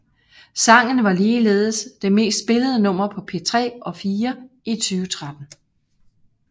Sangen var ligeledes det mest spillede nummer på P3 og P4 i 2013